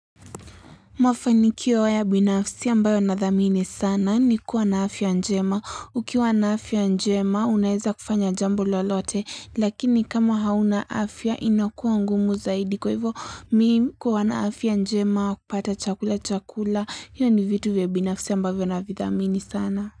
Mafanikio ya waya binafsi ambayo na dhamini sana ni kuwa na afya njema. Ukiwa na afya njema unaeza kufanya jambo lolote lakini kama hauna afya inakuwa ngumu zaidi. Kwa hivyo mi kuwa na afya njema wa kupata chakula chakula. Hiyo ni vitu vya binafsi ambavyo na vidhamini sana.